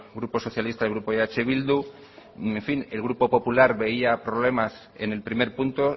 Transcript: grupo socialista y el grupo eh bildu en fin el grupo popular veía problemas en el primer punto